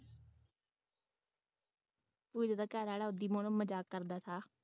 ਉਈ ਉਹਦਾ ਘਰਵਾਲਾ ਉਸ ਨੂੰ ਮਜ਼ਾਕ ਕਰਦਾ ਥਾ